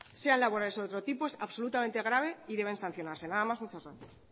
sean laborales o de otro tipo es absolutamente grave y deben sancionarse nada más y muchas gracias